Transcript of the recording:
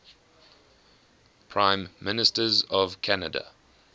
prime ministers of canada